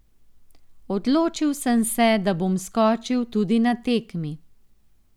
Odločil sem se, da bom skočil tudi na tekmi.